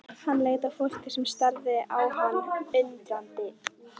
Hann leit á fólkið sem starði á hann undrandi.